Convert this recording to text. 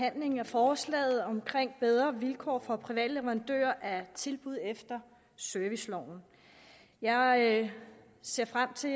behandlingen af forslaget om bedre vilkår for private leverandører af tilbud efter serviceloven jeg ser frem til